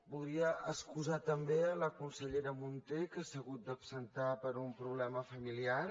voldria excusar també la consellera munté que s’ha hagut d’absentar per un problema familiar